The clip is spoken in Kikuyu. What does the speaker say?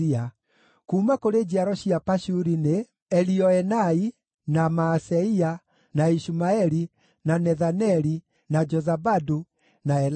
Kuuma kũrĩ njiaro cia Pashuri nĩ: Elioenai, na Maaseia, na Ishumaeli, na Nethaneli, na Jozabadu, na Elasa.